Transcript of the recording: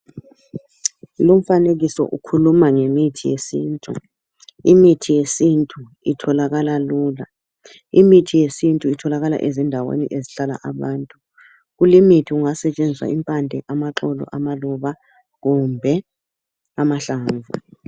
Lumfanekiso ukhuluma ngemithi yesintu. Imithi yesintu itholakala lula. Imithi yesintu itholakala ezindaweni ezihlala abantu. Kulimithi kungasetshenziswa impande, amaxolo, amaluba, kumbe amahlamvu.